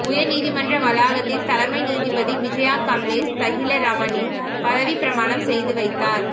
உயர்நீதிமன்ற வளாகத்தில் தலைமை நீதிபதி விஜயா கம்லேஷ் தஹிலரமானி பதவிப்பிரமாணம் செய்துவைத்தார்